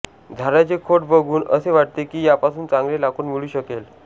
झाडाचे खोड बघून असे वाटते की यापासून चांगले लाकूड मिळू शकेल